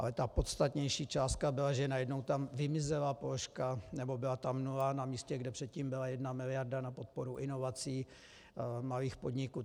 Ale ta podstatnější částka byla, že najednou tam vymizela položka, nebo byla tam nula na místě, kde předtím byla jedna miliarda na podporu inovací malých podniků.